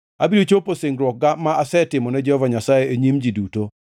Abiro chopo singruokga ma asetimo ne Jehova Nyasaye e nyim ji duto.